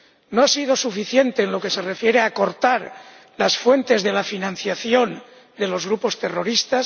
No ha sido suficiente en lo que se refiere a cortar las fuentes de financiación de los grupos terroristas.